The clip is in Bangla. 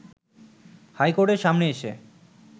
হাই কোর্টের সামনে এসে